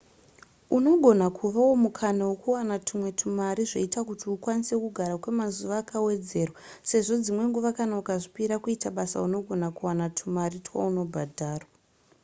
unogona kuvawo mukana wekuwana tumwe tumari zvoita kuti ukwanise kugara kwemazuva akawedzerwa sezvo dzimwe nguva kana ukazvipira kuita basa unogona kuwana tumari twaunobhadharwa